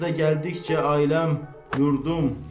Ya da gəldikcə ailəm, yurdum.